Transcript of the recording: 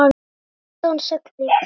Sextán sagði Kata.